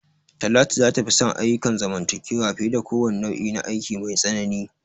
Talatu za ta fi son ayyukan zamantakewa fiye da kowane nau'i na aiki mai tsanani.